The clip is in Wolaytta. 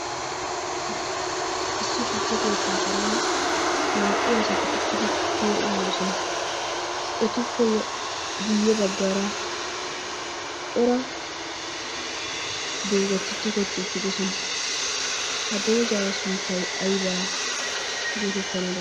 issi tukke keettaa karen naa"u asati uttidi tukkiyaa uyyoosona. etuppe guyye baggaara cora doozati tokketi uttidoosona. ha doozaa sunttay aybaa geetettana danddayii?